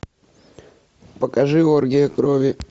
покажи оргия крови